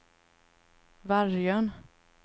Vargön